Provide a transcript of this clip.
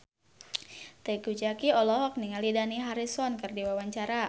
Teuku Zacky olohok ningali Dani Harrison keur diwawancara